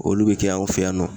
Olu be kɛ anw fɛ yan nɔ.